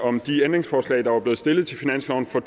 om de ændringsforslag der var blevet stillet til finansloven for